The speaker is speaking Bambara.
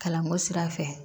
Kalanko sira fɛ